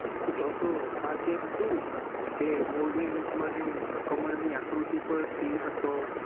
તો તો આજે હતુ કે મોર્ય યુગ માં જે ઉધા કમળ ની આકૃતિ પર સિહ હતો.